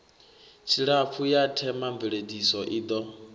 tshilapfu ya themamveledziso i ḓo